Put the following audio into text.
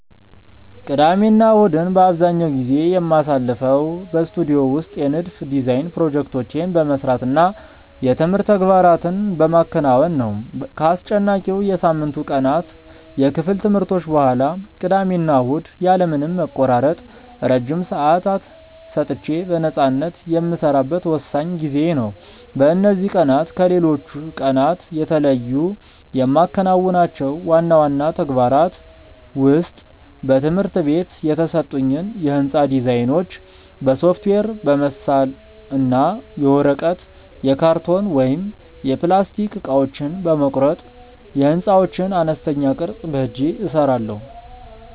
ቅዳሜና እሁድን አብዛኛውን ጊዜ የማሳልፈው በስቱዲዮ ውስጥ የንድፍ (Design) ፕሮጀክቶቼን በመስራት እና የትምህርት ተግባራትን በማከናወን ነው። ከአስጨናቂው የሳምንቱ ቀናት የክፍል ትምህርቶች በኋላ፣ ቅዳሜና እሁድ ያለ ምንም መቆራረጥ ረጅም ሰዓታት ሰጥቼ በነፃነት የምሰራበት ወሳኝ ጊዜዬ ነው። በእነዚህ ቀናት ከሌሎች ቀናት የተለዩ የማከናውናቸው ዋና ዋና ተግባራት ውስጥ በትምህርት ቤት የተሰጡኝን የሕንፃ ዲዛይኖች በሶፍትዌር በመሳል እና የወረቀት፣ የካርቶን ወይም የፕላስቲክ እቃዎችን በመቁረጥ የሕንፃዎችን አነስተኛ ቅርፅ በእጄ እሰራለሁ።